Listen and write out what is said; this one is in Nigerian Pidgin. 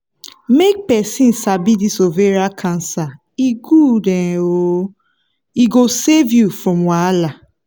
make persin sabi this ovarian cancer e good um oooo e go save you from wahala